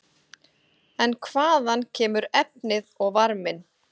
En hvaðan kemur efnið og varminn?